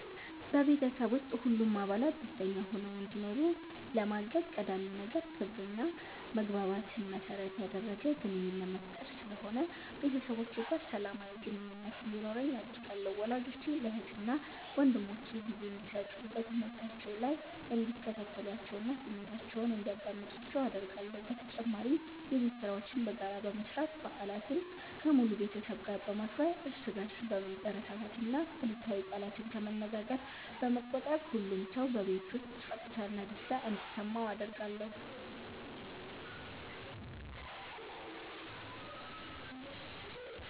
በቤተሰብ ውስጥ ሁሉም አባላት ደስተኛ ሆነው እንዲኖሩ ለማገዝ ቀዳሚው ነገር ክብርና መግባባትን መሠረት ያደረገ ግንኙነት መፍጠር ስለሆነ ቤተሰቦቼ ጋር ሰላማዊ ግንኙነት እንዲኖረኝ አደርጋለሁ። ወላጆቼ ለእህትና ወንድሞቼ ጊዜ እንዲሰጡ፣ በትምህርታቸው ላይ እንዲከታተሏቸውና ስሜታቸውን እንዲያዳምጡአቸው አደርጋለሁ። በተጨማሪም የቤት ሥራዎችን በጋራ በመስራት፣ በዓላትን ከሙሉ ቤተሰብ ጋር በማክበር፣ እርስ በርስ በመበረታታትና አሉታዊ ቃላትን ከመነገር በመቆጠብ ሁሉም ሰው በቤት ውስጥ ፀጥታና ደስታ እንዲሰማው አደርጋለሁ።